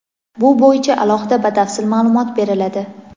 bu bo‘yicha alohida batafsil ma’lumot beriladi.